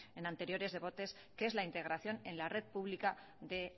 en anteriores debates que es la integración en la red pública de